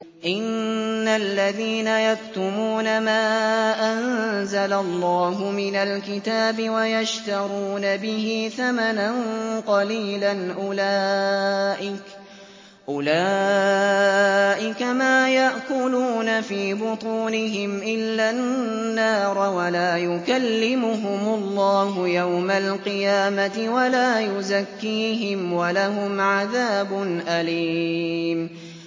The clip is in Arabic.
إِنَّ الَّذِينَ يَكْتُمُونَ مَا أَنزَلَ اللَّهُ مِنَ الْكِتَابِ وَيَشْتَرُونَ بِهِ ثَمَنًا قَلِيلًا ۙ أُولَٰئِكَ مَا يَأْكُلُونَ فِي بُطُونِهِمْ إِلَّا النَّارَ وَلَا يُكَلِّمُهُمُ اللَّهُ يَوْمَ الْقِيَامَةِ وَلَا يُزَكِّيهِمْ وَلَهُمْ عَذَابٌ أَلِيمٌ